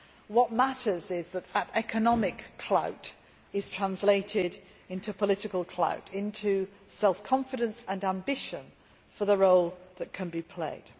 What matters is that economic clout is translated into political clout into self confidence and ambition for the role that can be played.